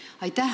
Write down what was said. Aitäh!